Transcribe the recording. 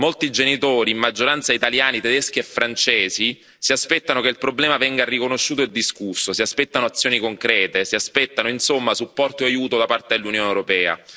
Molti genitori, in maggioranza italiani, tedeschi e francesi si aspettano che il problema venga riconosciuto e discusso, si aspettano azioni concrete, si aspettano insomma supporto e aiuto da parte dell'Unione europea.